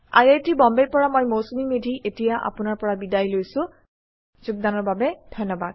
I I T Bombay ৰ পৰা মই মৌচুমী মেধী এতিয়া আপুনাৰ পৰা বিদায় লৈছো যোগদানৰ বাবে ধন্যবাদ